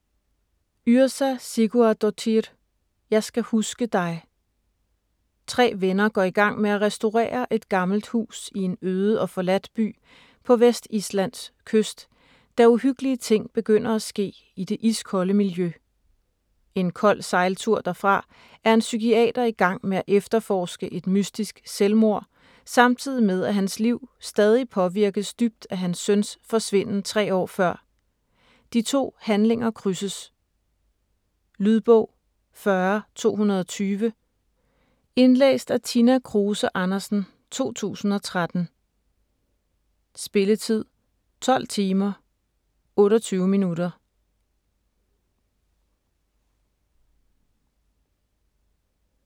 Yrsa Sigurðardóttir: Jeg skal huske dig Tre venner går i gang med at restaurere et gammelt hus i en øde og forladt by på Vestislands kyst, da uhyggelige ting begynder at ske i det iskolde miljø. En kold sejltur derfra er en psykiater i gang med at efterforske et mystisk selvmord, samtidig med at hans liv stadig påvirkes dybt af hans søns forsvinden 3 år før. De to handlinger krydses. Lydbog 40220 Indlæst af Tina Kruse Andersen, 2013. Spilletid: 12 timer, 28 minutter.